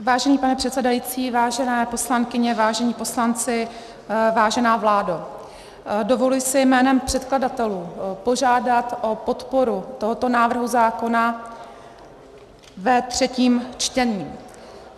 Vážený pane předsedající, vážené poslankyně, vážení poslanci, vážená vládo, dovoluji si jménem předkladatelů požádat o podporu tohoto návrhu zákona ve třetím čtení.